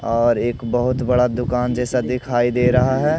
और एक बहोत बड़ा दुकान जैसा दिखाई दे रहा है।